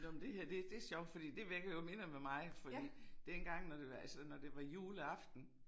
Nåh men det her det det sjovt fordi det vækker jo minder med mig fordi dengang når det var altså når det var juleaften